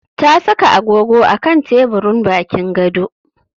Ta saka agogo a kan teburin bakin gado.